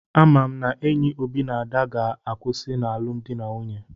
Ama m n'enyi Obi na Ada ga-akwụsị n'alụmdi na nwunye.